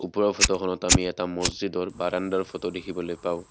ওপৰৰ ফটোখনত আমি এটা মচজিদৰ বাৰাণ্ডাৰ ফটো দেখিবলৈ পাওঁ।